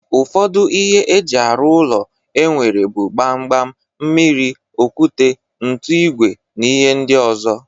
Ụfọdụ ihe eji arụ ụlọ enwere bụ Gbam gbam, mmiri, okwute, ntu, ìgwè na ihe ndị ọzọ